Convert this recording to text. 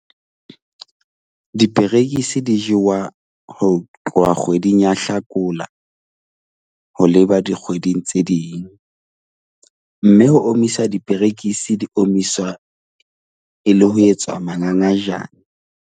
Diperekisi di jewa ho tloha kgweding ya Hlakola ho leba dikgweding tse ding mme ho omisa diperekisi, di omiswa e le ho etswa mangangajane.